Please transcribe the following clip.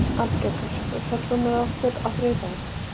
Arngerður, ferð þú með okkur á þriðjudaginn?